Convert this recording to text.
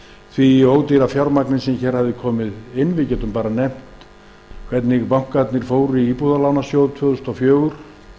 því ódýra fjármagni sem hér hafði komið inn við getum til dæmis nefnt hvernig bankarnir fóru í íbúðalánasjóð tvö þúsund og fjögur